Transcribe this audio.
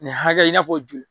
Nin hakɛ i n'a fɔ joli.